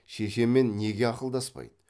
шешемен неге ақылдаспайды